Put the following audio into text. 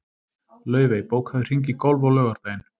Laufey, bókaðu hring í golf á laugardaginn.